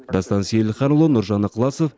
дастан сейілханұлы нұржан ықыласов